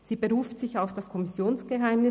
Sie beruft sich auf das Kommissionsgeheimnis;